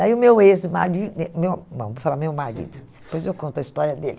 Daí o meu ex-mari, eh, não, não, vou falar meu marido, depois eu conto a história dele.